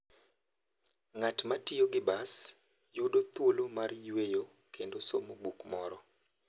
Ng'at ma tiyo gi bas yudo thuolo mar yueyo kendo somo buk moro.